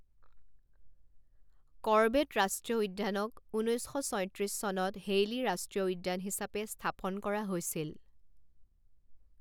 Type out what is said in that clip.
Corbett ৰাষ্ট্ৰীয় উদ্যানক ঊনৈছ শ ছয়ত্ৰিছ চনত হেইলী ৰাষ্ট্ৰীয় উদ্যান হিচাপে স্থাপন কৰা হৈছিল।